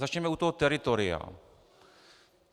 Začněme u toho teritoria.